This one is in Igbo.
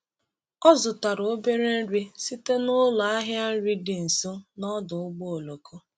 Ọ zụtara obere nri site n’ụlọ ahịa nri dị nso n’ọdụ ụgbọ oloko.